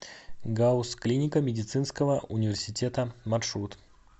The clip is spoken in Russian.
гауз клиника медицинского университета маршрут